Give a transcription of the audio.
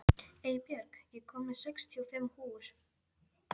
Eybjörg, ég kom með sextíu og fimm húfur!